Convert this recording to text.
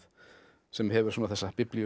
sem hefur þessa